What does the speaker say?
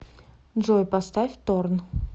джой поставь торн